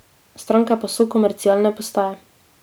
Stranke pa so komercialne postaje.